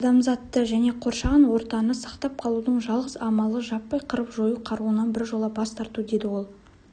адамзатты және қоршаған ортаны сақтап қалудың жалғыз амалы жаппай қырып-жою қаруынан біржола бас тарту деді ол